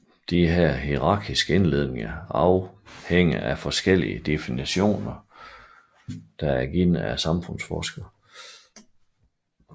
Disse hierarkiske inddelinger afhænger af forskellige definitioner givet af samfundsforskere